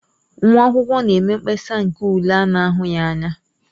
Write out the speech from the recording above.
Nwa akwụkwọ na-eme mkpesa nke ule a na-ahụghị anya.